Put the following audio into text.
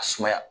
A sumaya